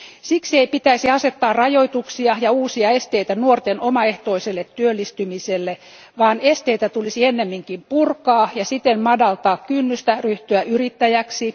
Siksi ei pitäisi asettaa rajoituksia ja uusia esteitä nuorten omaehtoiselle työllistymiselle, vaan esteitä tulisi ennemminkin purkaa ja siten madaltaa kynnystä ryhtyä yrittäjäksi.